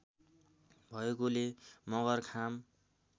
भएकोले मगर खाम